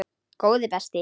Góði besti.!